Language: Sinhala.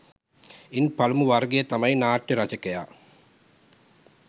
ඉන් පළමු වර්ගය තමයි නාට්‍ය රචකයා